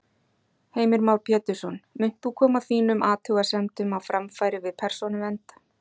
Heimir Már Pétursson: Munt þú koma þínum athugasemdum á framfæri við Persónuvernd?